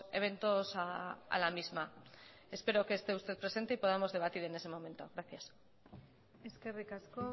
eventos a la misma espero que esté usted presente y podamos debatir en ese momento gracias eskerrik asko